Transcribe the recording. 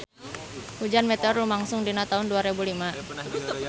Hujan meteor lumangsung dina taun dua rebu lima